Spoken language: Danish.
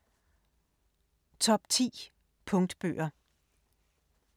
Top 10 punktbøger